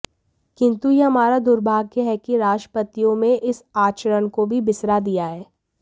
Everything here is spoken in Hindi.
किन्तु यह हमारा दुर्भाग्य है कि राष्ट्रपतियों में इस आचरण को भी बिसरा दिया है